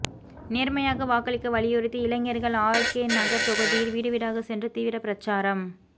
நேர்மையாக வாக்களிக்க வலியுறுத்தி இளைஞர்கள் ஆர்கேநகர் தொகுதியில் வீடுவீடாக சென்று தீவிர பிரச்சாரம்